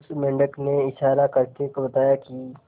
उस मेंढक ने इशारा करके बताया की